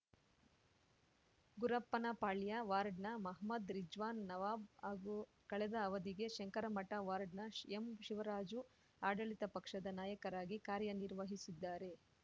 ಗುರಪ್ಪನಪಾಳ್ಯ ವಾರ್ಡ್‌ನ ಮಹಮ್ಮದ್ ರಿಜ್ವಾನ್‌ ನವಾಬ್‌ ಹಾಗೂ ಕಳೆದ ಅವಧಿಗೆ ಶಂಕರಮಠ ವಾರ್ಡ್‌ನ ಎಂಶಿವರಾಜು ಆಡಳಿತ ಪಕ್ಷದ ನಾಯಕರಾಗಿ ಕಾರ್ಯ ನಿರ್ವಹಿಸಿದ್ದಾರೆ